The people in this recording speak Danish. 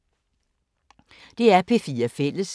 DR P4 Fælles